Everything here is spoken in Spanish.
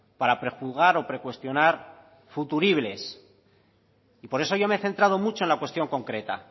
para prejuzgar o precuestionar futuribles y por eso yo me he centrado mucho en la cuestión concreta